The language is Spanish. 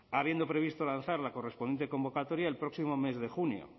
habiendo previsto lanzar la correspondiente convocatoria el próximo mes de junio